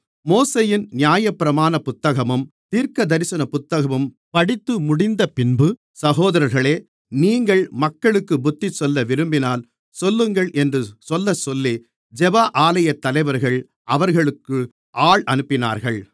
மோசேயின் நியாயப்பிரமாண புத்தகமும் தீர்க்கதரிசன புத்தகமும் படித்துமுடிந்தபின்பு சகோதரர்களே நீங்கள் மக்களுக்குப் புத்திச்சொல்ல விரும்பினால் சொல்லுங்கள் என்று சொல்லச்சொல்லி ஜெப ஆலயத்தலைவர்கள் அவர்களுக்கு ஆள் அனுப்பினார்கள்